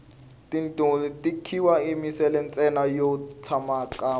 tichungulu ti khiwa emisinyeni ntsena yo tsakama